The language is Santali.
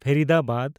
ᱯᱷᱮᱨᱤᱫᱟᱵᱟᱫᱽ